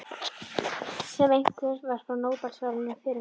Sem einhver var að fá Nóbelsverðlaunin fyrir um daginn.